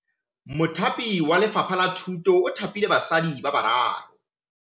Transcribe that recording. Mothapi wa Lefapha la Thutô o thapile basadi ba ba raro.